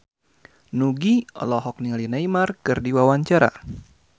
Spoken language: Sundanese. Nugie olohok ningali Neymar keur diwawancara